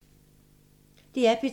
DR P2